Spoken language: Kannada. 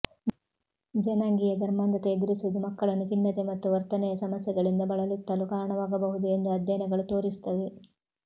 ಜನಾಂಗೀಯ ಧರ್ಮಾಂಧತೆ ಎದುರಿಸುವುದು ಮಕ್ಕಳನ್ನು ಖಿನ್ನತೆ ಮತ್ತು ವರ್ತನೆಯ ಸಮಸ್ಯೆಗಳಿಂದ ಬಳಲುತ್ತಲು ಕಾರಣವಾಗಬಹುದು ಎಂದು ಅಧ್ಯಯನಗಳು ತೋರಿಸುತ್ತವೆ